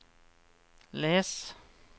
les